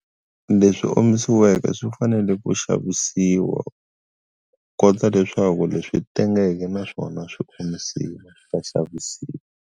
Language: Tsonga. Leswi omisiweke swi fanele ku xavisiwa ku kondza leswaku leswi tengeke na swona swi swa xavisiwa.